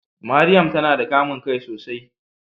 Mariam tana da kamun kai sosai.